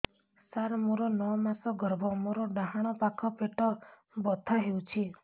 ସାର ମୋର ନଅ ମାସ ଗର୍ଭ ମୋର ଡାହାଣ ପାଖ ପେଟ ବଥା ହେଉଛି